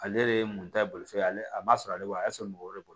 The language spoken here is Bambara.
Ale de ye mun ta bolofɛn ye ale man sɔrɔ ale bolo a y'a sɔrɔ mɔgɔ wɛrɛ de bolo